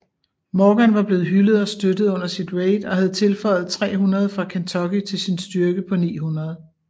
Morgan var blevet hyldet og støttet under sit raid og havde tilføjet 300 fra Kentucky til sin styrke på 900